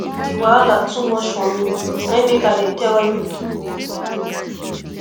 di wahala too much for me na im make i dey tell you